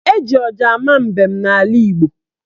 Eji ọja ama mbem n'ala Igbo.